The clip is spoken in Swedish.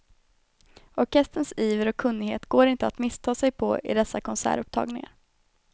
Orkesterns iver och kunnighet går inte att missta sig på i dessa konsertupptagningar.